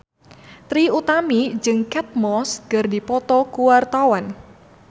Trie Utami jeung Kate Moss keur dipoto ku wartawan